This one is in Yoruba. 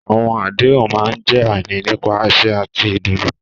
Àwọn àdéhùn máa ń jẹ́ àmì nípa àsè àti ìdùnnú.